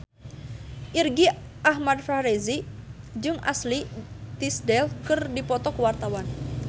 Irgi Ahmad Fahrezi jeung Ashley Tisdale keur dipoto ku wartawan